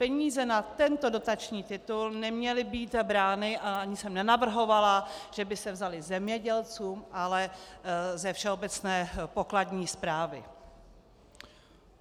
Peníze na tento dotační titul neměly být brány a ani jsem nenavrhovala, že by se vzaly zemědělcům, ale ze všeobecné pokladní správy.